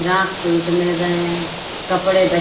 frock suit मिल रहे है कपड़े ब--